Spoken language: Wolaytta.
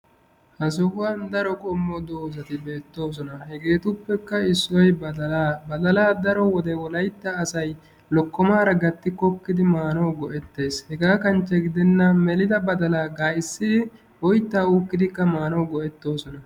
ha sohuwan ha asati cadiidi de'iyo koyro tokketidaagee de'iyo koyro issoy badalaa lokkomaara meli badalaa go'etoosona.